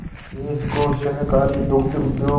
देश को सहकारी दुग्ध उद्योग